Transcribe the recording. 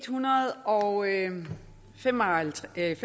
hundrede og fem og halvfjerds